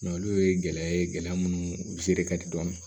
olu ye gɛlɛya ye gɛlɛya munnu ka di dɔɔni